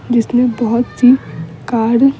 जिसने बहुत सी कार --